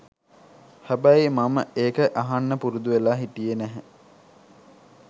හැබැයි මම ඒක අහන්න පුරුදුවෙලා හිටියේ නැහැ.